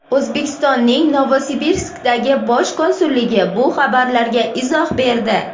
O‘zbekistonning Novosibirskdagi Bosh konsulligi bu xabarlarga izoh berdi.